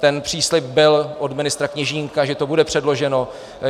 Ten příslib byl od ministra Kněžínka, že to bude předloženo.